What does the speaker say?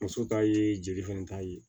Muso ta ye jeli fɛnɛ ta ye